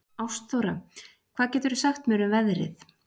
Ástþóra, hvað geturðu sagt mér um veðrið?